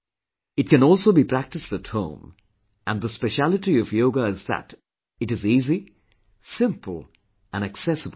It can also be practised at home and the specialty of Yoga is that it is easy, simple and accessible to all